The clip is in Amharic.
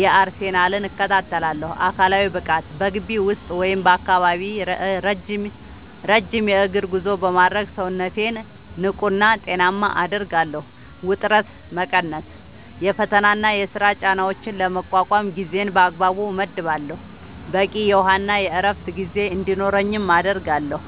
የአርሰናልን) እከታተላለሁ። አካላዊ ብቃት፦ በግቢ ውስጥ ወይም በአካባቢው ረጅም የእግር ጉዞ በማድረግ ሰውነቴን ንቁና ጤናማ አደርጋለሁ። ውጥረት መቀነስ፦ የፈተናና የሥራ ጫናዎችን ለመቋቋም ጊዜን በአግባቡ እመድባለሁ፣ በቂ የውሃና የዕረፍት ጊዜ እንዲኖረኝም አደርጋለሁ።